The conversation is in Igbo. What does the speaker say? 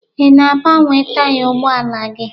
Ị na-agbanwe taya ụgbọala gị?